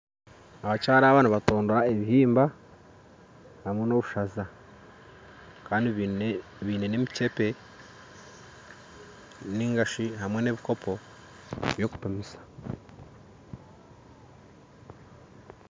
Abakyara abo nibatondora ebihimba hamwe n'obushaza kandi baine n'emicebe nainga shi hamwe n'ebikopo by'okupimisa